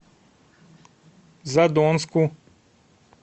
задонску